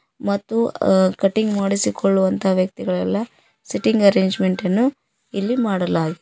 ಮತ್ತು ಅ ಕಟಿಂಗ್ ಮಾಡಿಸಿಕೊಳ್ಳುವಂತ ವ್ಯಕ್ತಿಗಳೆಲ್ಲ ಸೀಟಿಂಗ್ ಅರೇಂಜ್ಮೆಂಟ್ ಅನ್ನು ಇಲ್ಲಿ ಮಾಡಲಾಗಿದೆ.